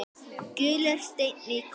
Gulur steinn í kopp.